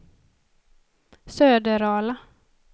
Söderala